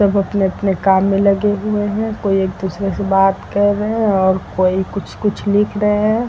सब अपने-अपने काम में लगे हुए हैं। कोई एक दूसरे से बात कर रहे हैं और कोई कुछ कुछ लिख रहे हैं।